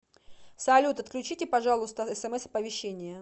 салют отключите пожалуйста смс оповещения